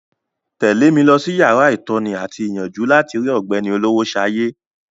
Tẹ̀lé mi lọ sí yàrá ìtọ́ni àti ìyànjú láti rí ọ̀gbẹ́ni Olowoshaye.